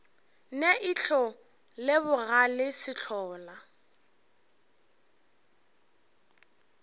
ne ihlo le bogale sehlola